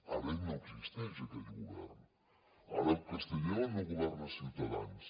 ara no existeix aquest govern ara a castella no governa ciutadans